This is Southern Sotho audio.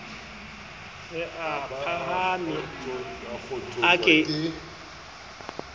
re a phahame a ke